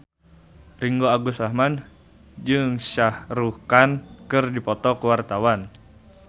Ringgo Agus Rahman jeung Shah Rukh Khan keur dipoto ku wartawan